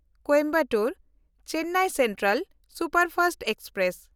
Coimbatore-Chennai central superfast express